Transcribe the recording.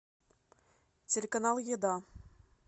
телеканал еда